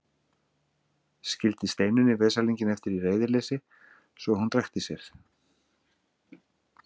Skildi Steinunni veslinginn eftir í reiðileysi svo að hún drekkti sér.